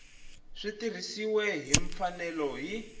swi tirhisiwile hi mfanelo hi